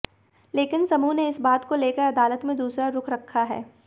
लेकिन समूह ने इस बात को लेकर अदालत में दूसरा रुख रखा है